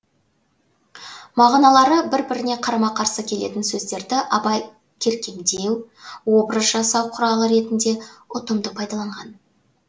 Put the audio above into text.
мағыналары бір біріне қарама қарсы келетін сөздерді абай керкемдеу образ жасау құралы ретінде ұтымды пайдаланған